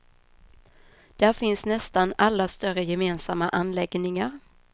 Där finns nästan alla större gemensamma anläggningar.